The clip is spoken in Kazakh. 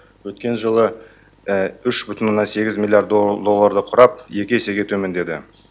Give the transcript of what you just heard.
өткен жылы үш бүтін оннан сегіз миллиард долларды құрап екі есеге төмендеді